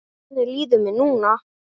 Þannig líður mér núna.